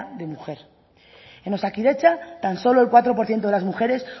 de mujer en osakidetza tan solo el cuatro por ciento de las mujeres